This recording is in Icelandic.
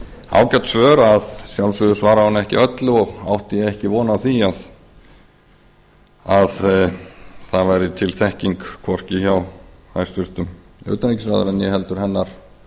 ágæt svör að sjálfsögðu svaraði hún ekki öllu og átti ég ekki von á því að það væri til þekking hvorki hjá hæstvirtum utanríkisráðherra né heldur hennar